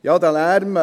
Ja, dieser Lärm.